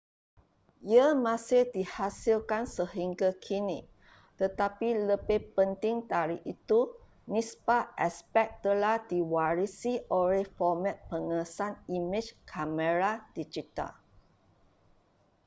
ia masih dihasilkan sehingga kini tetapi lebih penting dari itu nisbah aspek telah diwarisi oleh format pengesan imej kamera digital